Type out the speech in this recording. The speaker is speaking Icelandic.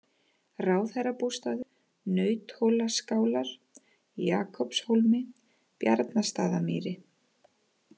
Ráðherrabústaður, Nauthólaskálar, Jakobshólmi, Bjarnastaðamýri